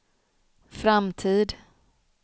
framtid